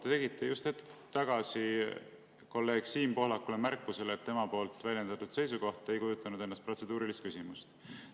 Te tegite just hetk tagasi kolleeg Siim Pohlakule märkuse, et tema väljendatud seisukoht ei kujutanud endast protseduurilist küsimust.